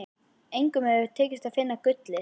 Engum hefur tekist að finna gullið.